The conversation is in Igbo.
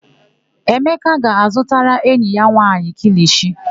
Emeka ga-azụtara enyi ya nwaanyị kilishi.